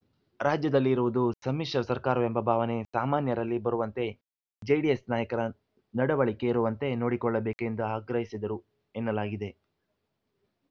ರಾಜ್ಯದಲ್ಲಿ ಇರುವುದು ಸಮ್ಮಿಶ್ರ ಸರ್ಕಾರವೆಂಬ ಭಾವನೆ ಸಾಮಾನ್ಯರಲ್ಲಿ ಬರುವಂತೆ ಜೆಡಿಎಸ್‌ ನಾಯಕರ ನಡವಳಿಕೆ ಇರುವಂತೆ ನೋಡಿಕೊಳ್ಳಬೇಕು ಎಂದು ಆಗ್ರಹಿಸಿದರು ಎನ್ನಲಾಗಿದೆ